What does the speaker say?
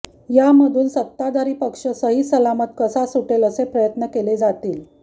यामधून सत्ताधारी पक्ष सहीसलामत कसा सुटेल असे प्रयत्न केले जातील